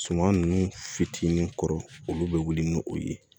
Suman nunnu fitinin kɔrɔ olu be wuli ni o ye